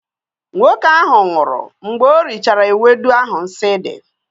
nwoke nwụhuru anwụ mgbe ori chara ewedu ahu nsi di